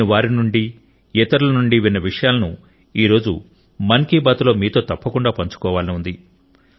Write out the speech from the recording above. నేను వారి నుండి ఇతరుల నుండి విన్న విషయాలను ఈ రోజు మన్ కి బాత్ లో మీతో తప్పకుండా పంచుకోవాలని ఉంది